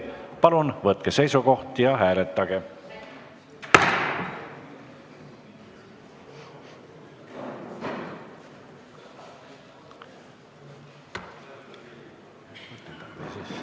Palun võtke seisukoht ja hääletage!